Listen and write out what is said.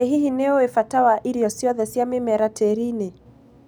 ĩ hihi nĩũĩ mbata wa irio ciothe cĩa mĩmera tĩri-inĩ